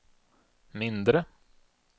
mindre